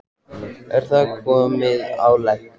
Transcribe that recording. Er það komið eitthvað á legg?